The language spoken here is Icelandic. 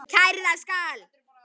Kærða skal